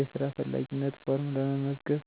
የስራ ፈላጊነት ፎርም ለመመዝገብ